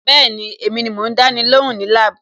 Bẹ́ẹ̀ni, èmi ni mò ń dáni lóhùn ní lab.